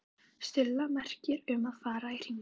Stulla merki um að fara í hringinn.